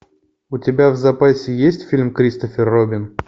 у тебя в запасе есть фильм кристофер робин